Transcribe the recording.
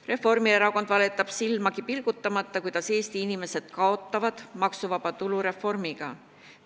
Reformierakond valetab silmagi pilgutamata, kuidas Eesti inimesed maksuvaba tulu reformi tõttu kaotavad.